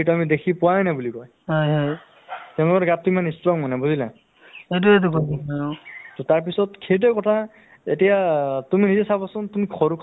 so তেনেকুৱা কৰি আমি গাঁৱত এটা এটা মানে ধৰক মানে শৰীৰ চৰ্চা কৰা এটা অ উম gym club এটা খুলিব পাৰো অ যিহেতু আমি এটা যুব প্ৰজন্মৰ ল'ৰা হয়নে নহয় কওকচোন